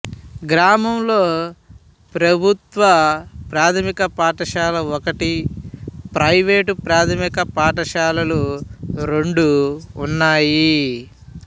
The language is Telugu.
గ్రామంలో ప్రభుత్వ ప్రాథమిక పాఠశాల ఒకటి ప్రైవేటు ప్రాథమిక పాఠశాలలు రెండు ఉన్నాయి